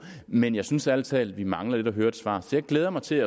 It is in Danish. men jeg synes ærlig talt at vi mangler at høre et svar så jeg glæder mig til